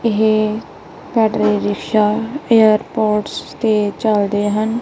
ਇਹ battery rickshaw airports ਤੇ ਚਲਦੇ ਹਨ।